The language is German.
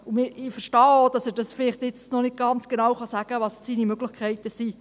Ich verstehe auch, dass er vielleicht jetzt noch nicht ganz genau sagen kann, was seine Möglichkeiten sind.